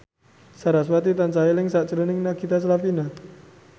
sarasvati tansah eling sakjroning Nagita Slavina